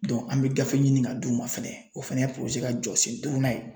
an bɛ gafe ɲini ka d'u ma fɛnɛ o fɛnɛ ye ka jɔsen duurunan ye.